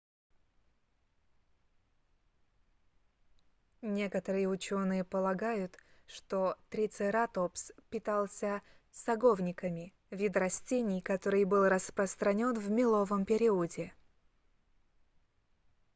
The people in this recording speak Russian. некоторые ученые полагают что трицератопс питался саговниками вид растений который был распространен в меловом периоде